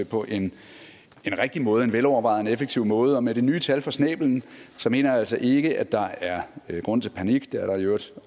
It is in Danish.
på en rigtig måde en velovervejet og effektiv måde og med det nye tal for snæblen mener jeg altså ikke at der er grund til panik det er der i øvrigt